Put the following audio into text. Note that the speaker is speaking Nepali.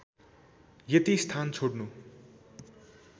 यति स्थान छोड्नु